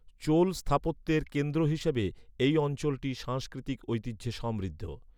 চোল স্থাপত্যের কেন্দ্র হিসাবে, এই অঞ্চলটি সাংস্কৃতিক ঐতিহ্যে সমৃদ্ধ।